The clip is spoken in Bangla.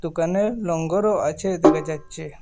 দোকানে নোঙ্গরও আছে দেখা যাচ্ছে।